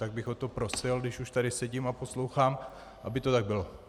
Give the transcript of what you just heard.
Tak bych o to prosil, když už tady sedím a poslouchám, aby to tak bylo.